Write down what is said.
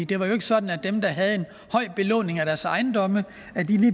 det var jo ikke sådan at dem der havde en høj belåning af deres ejendomme